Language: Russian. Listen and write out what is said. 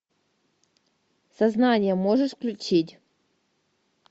сознание можешь включить